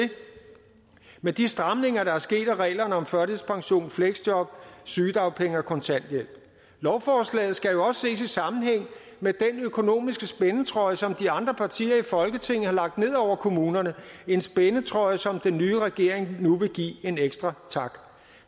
med de stramninger der er sket af reglerne om førtidspension fleksjob sygedagpenge og kontanthjælp lovforslaget skal jo også ses i sammenhæng med den økonomiske spændetrøje som de andre partier i folketinget har lagt ned over kommunerne en spændetrøje som den nye regering nu vil give en ekstra tak